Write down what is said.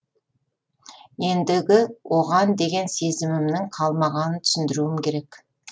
ендігі оған деген сезімімнің қалмағанын түсіндіруім керек